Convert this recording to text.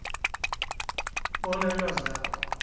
bona ilwazi lakho